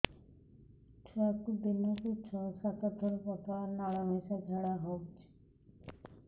ଛୁଆକୁ ଦିନକୁ ଛଅ ସାତ ଥର ପତଳା ନାଳ ମିଶା ଝାଡ଼ା ହଉଚି